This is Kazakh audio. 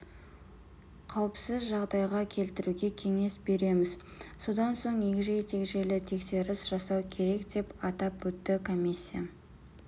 қауіпсіз жағдайға келтіруге кеңес береміз содан соң егжей-тегжейлі тексеріс жасау керек деп атап өтті комиссия